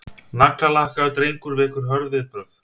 Naglalakkaður drengur vekur hörð viðbrögð